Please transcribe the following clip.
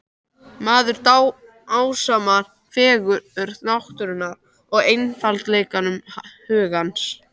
Maður dásamar fegurð náttúrunnar og einfaldleika hugans.